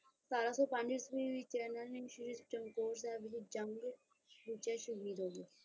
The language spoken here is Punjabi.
ਸਤਾਰਾਂ ਸੌ ਪੰਜ ਈਸਵੀ ਵਿੱਚ ਇਹਨਾਂ ਨੇ ਸ਼੍ਰੀ ਚਮਕੌਰ ਸਾਹਿਬ ਵਿੱਚ ਜੰਗ ਵਿੱਚ ਸ਼ਾਹਿਦ ਹੋ ਗਏ।